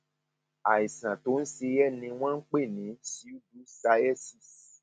àìsàn tó ń ṣe ẹ ni wọn ń pè ní pseudocyesis